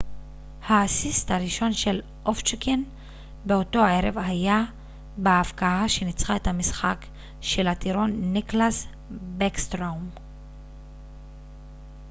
האסיסט הראשון של אובצ'קין באותו ערב היה בהבקעה שניצחה את המשחק של הטירון ניקלאס בקסטרום